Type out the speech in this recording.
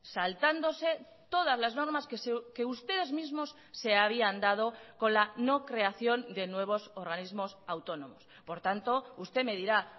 saltándose todas las normas que ustedes mismos se habían dado con la no creación de nuevos organismos autónomos por tanto usted me dirá